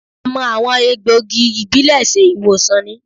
A máa àwọn egbògi ìbílẹ̀ ṣe ìwòsàn ni